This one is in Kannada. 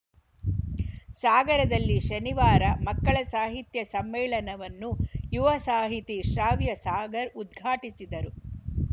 ಸಾಗರದಲ್ಲಿ ಶನಿವಾರ ಮಕ್ಕಳ ಸಾಹಿತ್ಯ ಸಮ್ಮೇಳನವನ್ನು ಯುವ ಸಾಹಿತಿ ಶ್ರಾವ್ಯ ಸಾಗರ್‌ ಉದ್ಘಾಟಿಸಿದರು